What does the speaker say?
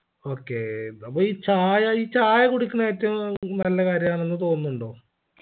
okay നമ്മ ഈ ചായ ഈ ചായ കുടിക്കുന്നെ ഏറ്റവും നല്ല കാര്യമാണെന്ന് തോന്നുന്നുണ്ടോ